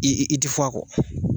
I i i ti fɔ a kɔ.